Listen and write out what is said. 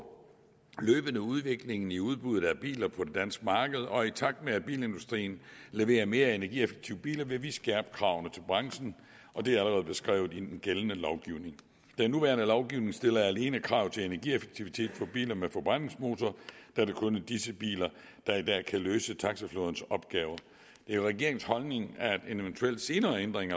løbende udviklingen i udbuddet af biler på det danske marked og i takt med at bilindustrien leverer mere energieffektive biler vil vi skærpe kravene til branchen og det er allerede beskrevet i den gældende lovgivning den nuværende lovgivning stiller alene krav til energieffektivitet på biler med forbrændingsmotor da det kun er disse biler der i dag kan løse taxaflådens opgaver det er regeringens holdning at en eventuel senere ændring af